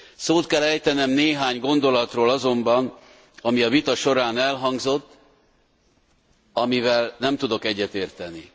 Szót kell ejtenem néhány gondolatról azonban, ami a vita során elhangzott, amivel nem tudok egyetérteni.